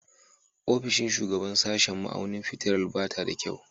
Ofishin shugaban sashen ma'auni fitilar ba ta da kyau